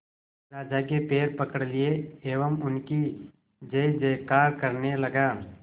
राजा के पैर पकड़ लिए एवं उनकी जय जयकार करने लगा